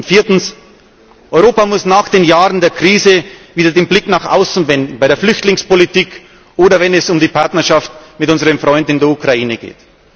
Viertens Europa muss nach den Jahren der Krise wieder den Blick nach außen wenden, bei der Flüchtlingspolitik oder wenn es um die Partnerschaft mit unseren Freunden in der Ukraine geht.